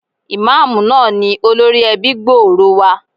Ìmáàmù náà ni olórí ẹbí gbòòrò wa.